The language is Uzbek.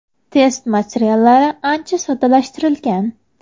Test materiallari ancha soddalashtirilgan.